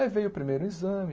Aí veio o primeiro exame.